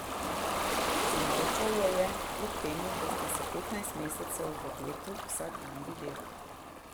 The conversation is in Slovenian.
Zamolčal jo je, kljub temu da sta se petnajst mesecev v getu vsak dan videvala.